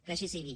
que així sigui